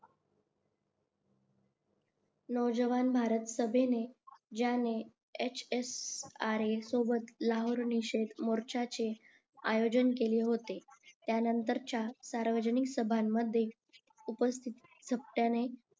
नवजवान भारत सभेने ज्यांनी HSRA सोबत लाहोर मोर्च्याचे आयोजन केले होते त्यानंतरच्या सार्वजनिक सभेमध्ये उपस्थित